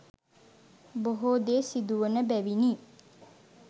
බොහෝ දේ සිදුවන බැවිනි.